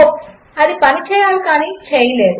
అది పని చేయాలి కాని చేయలేదు